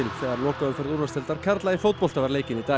þegar lokaumferð úrvalsdeildar karla í fótbolta var leikin í dag